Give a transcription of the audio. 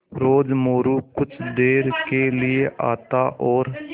रोज़ मोरू कुछ देर के लिये आता और